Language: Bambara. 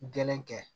Gɛlɛn kɛ